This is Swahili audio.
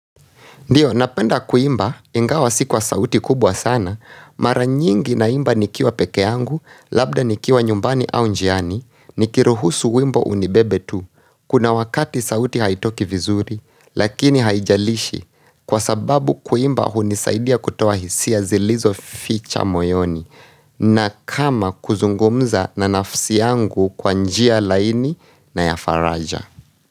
Ndio, napenda kuimba, ingawa si kwa sauti kubwa sana, mara nyingi naimba nikiwa peke yangu, labda nikiwa nyumbani au njiani, nikiruhusu wimbo unibebe tu. Kuna wakati sauti haitoki vizuri, lakini haijalishi, kwa sababu kuimba hunisaidia kutoa hisia zilizoficha moyoni, na kama kuzungumza na nafsi yangu kwa njia laini na ya faraja.